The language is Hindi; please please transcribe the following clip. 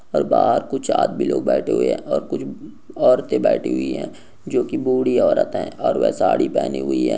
और बाहर कुछ आदमी लोग बैठे हुए हैं और कुछ औरतें बैठी हुई हैं जो कि बूढ़ी औरत है और वह साड़ी पहनी हुई है।